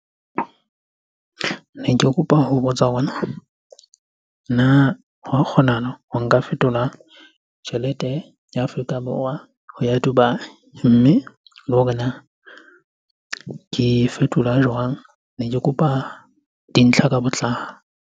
Ne ke kopa ho botsa ona na hwa kgonahala ho nka fetola tjhelete ya Afrika Borwa ho ya Dubai? Mme le hore na ke fetola jwang? Ne ke kopa dintlha ka botlalo.